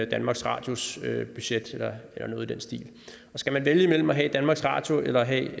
danmarks radios budget eller noget i den stil skal man vælge imellem at have danmarks radio eller have